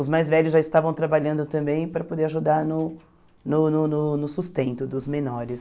Os mais velhos já estavam trabalhando também para poder ajudar no no no no no sustento dos menores.